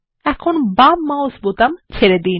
এখন মাউস বোতামটি ছেড়ে দিন